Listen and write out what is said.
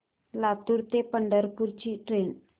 लातूर ते पंढरपूर ची ट्रेन